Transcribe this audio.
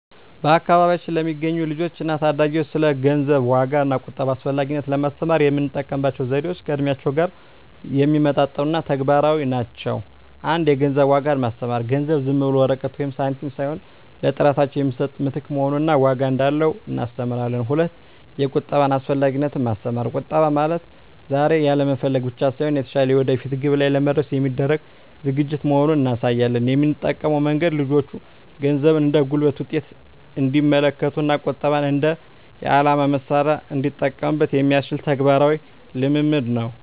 በአካባቢያችን ለሚገኙ ልጆች እና ታዳጊዎች ስለ ገንዘብ ዋጋ እና ቁጠባ አስፈላጊነት ለማስተማር የምንጠቀምባቸው ዘዴዎች ከእድሜያቸው ጋር የሚመጣጠኑ እና ተግባራዊ ናቸው። 1) የገንዘብ ዋጋን ማስተማር ገንዘብ ዝም ብሎ ወረቀት ወይም ሳንቲም ሳይሆን ለጥረታቸው የሚሰጥ ምትክ መሆኑን እና ዋጋ እንዳለው እናስተምራለን። 2)የቁጠባ አስፈላጊነትን ማስተማር ቁጠባ ማለት ዛሬ ያለመፈለግ ብቻ ሳይሆን፣ የተሻለ የወደፊት ግብ ላይ ለመድረስ የሚደረግ ዝግጅት መሆኑን እናሳያለን። የምንጠቀመው መንገድ ልጆቹ ገንዘብን እንደ ጉልበት ውጤት እንዲመለከቱት እና ቁጠባን እንደ የዓላማ መሣሪያ እንዲጠቀሙበት የሚያስችል ተግባራዊ ልምምድ ነው።